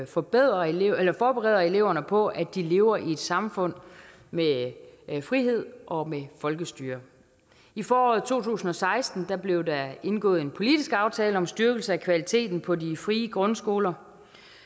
forbereder eleverne forbereder eleverne på at de lever i et samfund med frihed og med folkestyre i foråret to tusind og seksten blev der indgået en politisk aftale om styrkelse af kvaliteten på de frie grundskoler